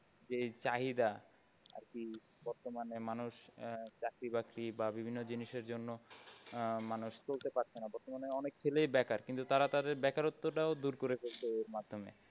যে চাহিদা আরকি বর্তমানে মানুষ আহ চাকরী বাকরি বা বিভিন্ন জিনিসের জন্য আহ মানুষ চলতে পারছে না। বর্তমানে অনেক ছেলেই বেকার কিন্তু তারা তাদের বেকারত্বটাও দূর করে ফেলেছে এর মাধ্যমে।